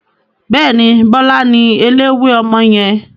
Bẹ́ẹ̀ni, Bọlá ni eléwé ọmọ yẹn.